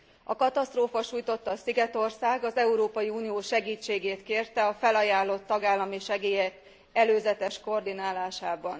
A katasztrófa sújtotta szigetország az Európai Unió segítségét kérte a felajánlott tagállami segélyek előzetes koordinálásában.